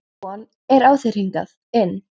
Að von er á þér hingað inn.